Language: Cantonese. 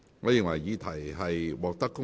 我宣布議案獲得通過。